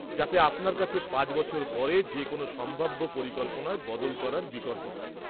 যাতে আপনার কাছে ৫ বছর পরে যে কোনো সম্ভাব্য পরিকল্পনায় বদল করার বিকল্প থাকে।